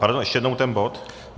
Pardon, ještě jednou ten bod.